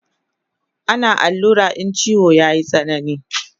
Ana allura in chiwo yayi tsanani